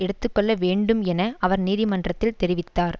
எடுத்து கொள்ள வேண்டும் என அவர் நீதிமன்றத்தில் தெரிவித்தார்